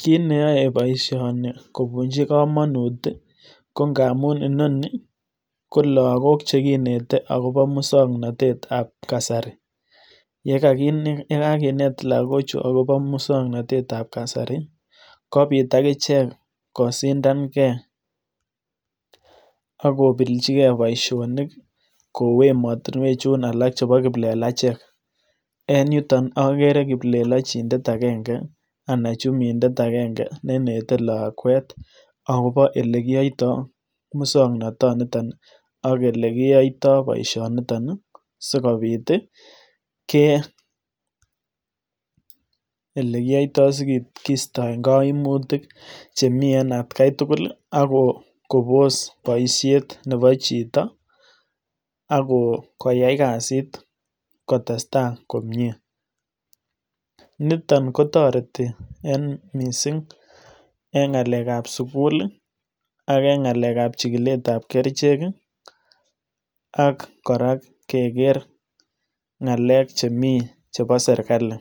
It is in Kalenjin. Kit neyoe bosioni kobunyi komonut ko ngamun logok kinete agobo musoknotetab kasari, ye kekakinet logochu agobo muswoknotetab kasari kobit akichek kosindange ak kobelchige boisionik kou emotinwek chun alak chebo kiplelachek, en yuton ogeere kiplelochindet agenge nenetee lakwet agobo olekiyoitoi musoknotetab kasari ak boisioniton sikobit keistoi koimutik chemi en etkai tugul, kobos noisier Nebo chito ak koyai kasit kotestai komie. Niton kotoreti missing en ngalekab sugul ak ngalekab kerichek ak kora keker ngalek chemi chebo serkali.